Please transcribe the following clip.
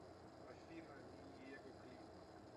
афина ми ниего клип